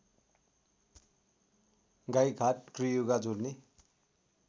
गाईघाट त्रियुगा जोडने